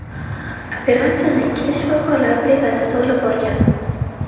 Operatsiyani ikkita shifokorlar brigadasi olib borgan.